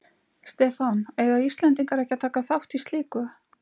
Stefán: Eiga Íslendingar ekki að taka þátt í slíku?